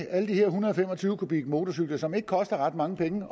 alle de her en hundrede og fem og tyve kubikmotorcykler som ikke koster ret mange penge